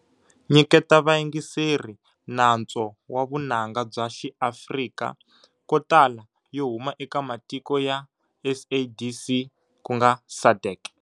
Nyiketa va yingiseri nantswo wa vunanga bya xi Afrika kotala yo huma eka matiko ya SADC.